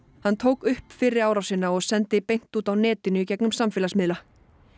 hann tók upp fyrri árásina og sendi beint út á netinu gegnum samfélagsmiðla